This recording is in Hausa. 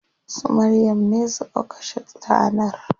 Su Maryam ne suka kashe tanar.